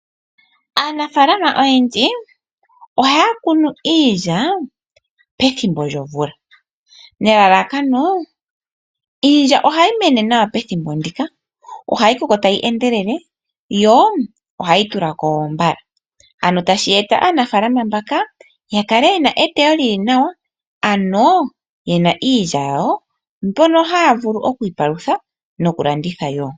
Aanafalama oyendji ohaya kunu iilya pethimbo lyomvula, nelalakano iilya ohayi mene nawa pethimbo lyomvula. Ohayi koko tayi endelele tashi eta aanafalama mbaka ya kale yena eteyo ewanawa, ano yena iilya yawo mbono haya vulu okwiipalutha nokulanditha wo.